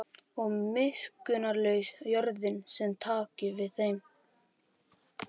Og miskunnarlaus jörðin sem taki við þeim.